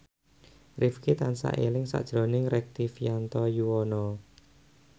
Rifqi tansah eling sakjroning Rektivianto Yoewono